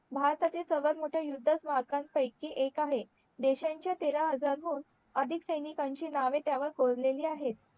भारताचे सर्वात मोठे युध्द स्मारकांपैकी एक आहे देशांच्या तेरा हजार हून अधिक सेनिकांची नावे त्यावर कोरलेली आहेत